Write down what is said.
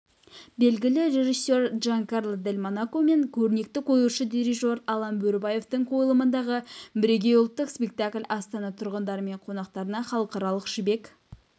белгілі режиссер джанкарло дель монако мен көрнекті қоюшы дирижер алан бөрібаевтің қойылымындағы бірегей ұлттық спектакль астана тұрғындары мен қонақтарына халықаралық жібек